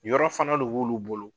Yɔrɔ fana de b'ulu bolo